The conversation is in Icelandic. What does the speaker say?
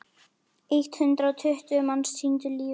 Eitt hundrað og tuttugu manns týndu lífi.